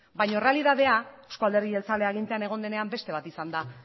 baino errealitatea euzko alderdi jeltzalea agintean egon denean beste bat izan da